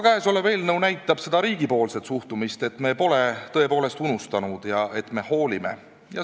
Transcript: Käesolev eelnõu näitab riigi suhtumist, et me pole tõepoolest oma inimesi unustanud ja et me hoolime.